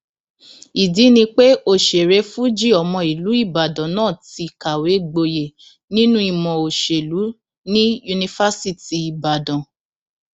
ìdí ni pé òṣèré fuji ọmọ ìlú ìbàdàn náà ti kàwé gboyè nínú ìmọ òṣèlú ní yunifásitì ìbàdàn